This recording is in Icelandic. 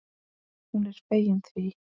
Hún er fegin því.